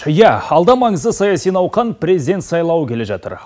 иә алда маңызды саяси науқан президент сайлауы келе жатыр